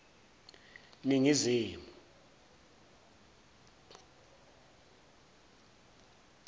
ningizimu